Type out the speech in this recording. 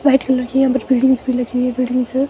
White colour की यहां पर भी लगी हुई है ।